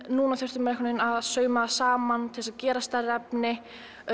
núna þurfti maður að sauma saman til að gera stærra efni